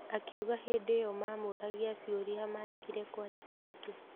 Akiuga hĩndĩ iyo mamũragia ciũria maregire kwandĩka nĩkĩ.